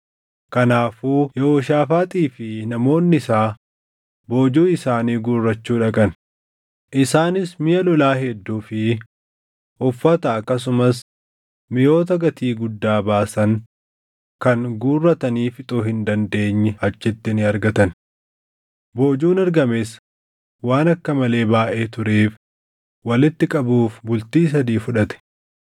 Kanaafuu Yehooshaafaaxii fi namoonni isaa boojuu isaanii guurrachuu dhaqan; isaanis miʼa lolaa hedduu fi uffata akkasumas miʼoota gatii guddaa baasan kan guurratanii fixuu hin dandeenye achitti ni argatan. Boojuun argames waan akka malee baayʼee tureef walitti qabuuf bultii sadii fudhate.